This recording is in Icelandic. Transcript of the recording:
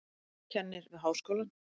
Kennir við háskólann.